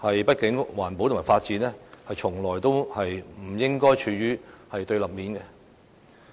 畢竟，環保與發展從來不應該處於對立面。